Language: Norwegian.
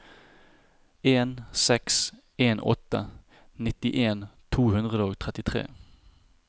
en seks en åtte nittien to hundre og trettitre